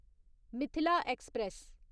Mithila express